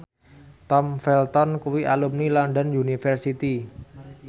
Tom Felton kuwi alumni London University